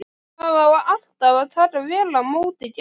Það á alltaf að taka vel á móti gestum.